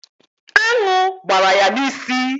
Aṅụ gbara ya n'isi